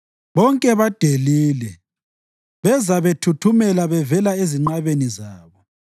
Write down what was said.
Bonke badelile; beza bethuthumela bevela ezinqabeni zabo.